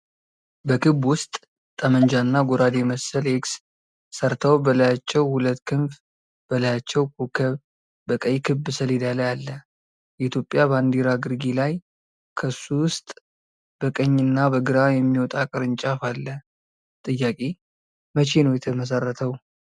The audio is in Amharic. በክብ ውስጥ ጠመንጃ እና ጎራዴ መሰል ኤክስ ሰርተው በላያቸው ሁለት ክንፍ በላያቸው ኮከብ በቀይ ክብ ሰሌዳ ላይ አለ ፤ የኢትዮጵያ ባንዲራ ግርጌ ላይ ከሱ ውስጥ በቀኝ እና በግራ የሚወጣ ቅርንጫፍ አለ :-ጥያቄ መቼ ነው የተመሰረተው?